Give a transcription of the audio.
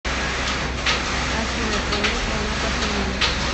афина прими звонок от ильи